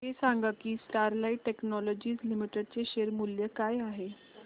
हे सांगा की स्टरलाइट टेक्नोलॉजीज लिमिटेड चे शेअर मूल्य काय आहे